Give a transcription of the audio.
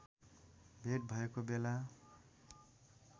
भेट भएको बेला